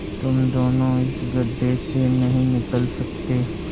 तुम दोनों इस गढ्ढे से नहीं निकल सकते